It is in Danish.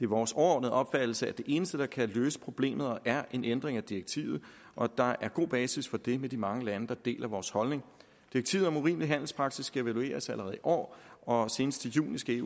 vores overordnede opfattelse at det eneste der kan løse problemet er en ændring af direktivet og at der er god basis for det med de mange lande der deler vores holdning direktivet om urimelig handelspraksis skal evalueres allerede i år og senest i juni skal